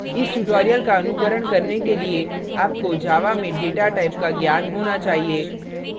इस tutorial का अनुकरण करने के लिए आपको java में data types का ज्ञान होना चाहिए